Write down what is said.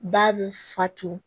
Ba bɛ fato